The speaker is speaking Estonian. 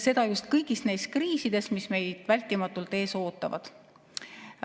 Seda just kõigis neis kriisides, mis meid vältimatult ees ootavad.